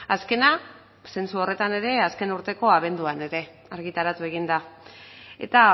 azkena zentzu horretan ere azken urteko abenduan ere argitaratu egin da eta